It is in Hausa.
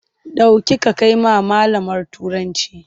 Ɗauki ka kai wa malamar Turancinka!